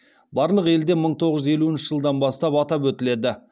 барлық елде мың тоғыз жүз елуінші жылдан бастап атап өтіледі